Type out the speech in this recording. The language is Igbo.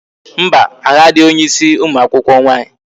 Mba, ahụ adịghị onye ịsị ụmụ akwụkwọ nwaanyị